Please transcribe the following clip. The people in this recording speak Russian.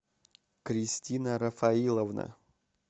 кристина рафаиловна